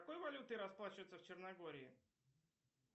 какой валютой расплачиваются в черногории